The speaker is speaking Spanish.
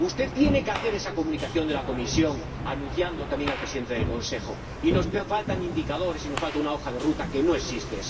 Usted tiene que hacer esa comunicación de la Comisión, transmitiéndosela también al Presidente del Consejo. Y nos faltan indicadores, y nos falta una hoja de ruta que no existe.